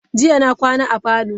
Jiya na kwana a parlour.